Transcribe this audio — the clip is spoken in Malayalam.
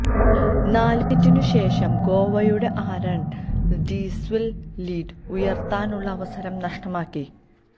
നാല് മിനിറ്റിനുശേഷം ഗോവയുടെ ആരണ് ഡിസില്വ ലീഡ് ഉയര്ത്താനുള്ള അവസരം നഷ്ടമാക്കി